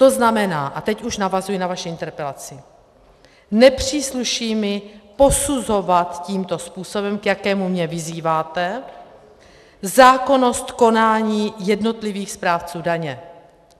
To znamená, a teď už navazuji na vaši interpelaci, nepřísluší mi posuzovat tímto způsobem, k jakému mě vyzýváte, zákonnost konání jednotlivých správců daně.